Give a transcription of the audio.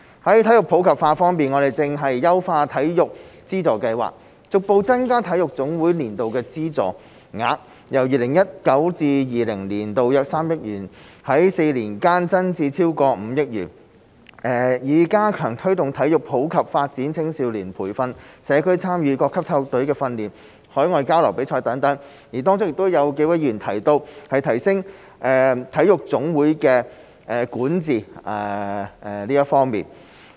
在體育普及化方面，我們正在優化體育資助計劃，逐步增加體育總會的年度資助額，由 2019-2020 年度約3億元，在4年間增至超過5億元，以加強推動體育普及發展、青少年培訓、社區參與、各級體育隊的訓練和海外交流與比賽，當中亦有幾位議員提及，提升體育總會的管治方面。